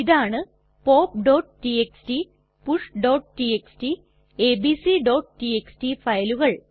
ഇതാണ് popടിഎക്സ്ടി pushടിഎക്സ്ടി abcടിഎക്സ്ടി ഫയലുകൾ